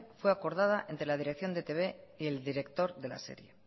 fue acordada entre la dirección de e i te be y el director de la serie